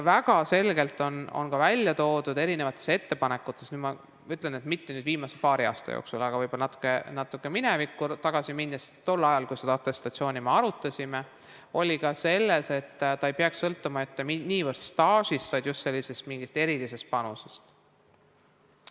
Väga selgelt oli välja toodud erinevates ettepanekutes – mitte viimase paari aasta jooksul, vaid võib-olla natuke minevikku tagasi minnes, tol ajal, kui me seda atestatsiooni arutasime – ka see, et see ei peaks sõltuma mitte niivõrd staažist, vaid just mingist erilisest panusest.